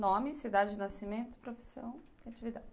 Nome, cidade de nascimento, profissão e atividade.